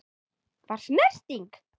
Var snerting?